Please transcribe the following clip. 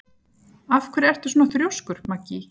Af hverju ertu svona þrjóskur, Maggý?